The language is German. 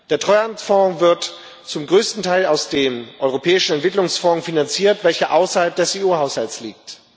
Der Treuhandfonds wird zum größten Teil aus dem Europäischen Entwicklungsfonds finanziert, welcher außerhalb des EU-Haushalts liegt.